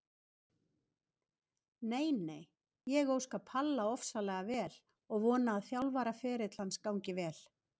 Nei nei, ég óska Palla ofsalega vel og vona að þjálfaraferill hans gangi vel.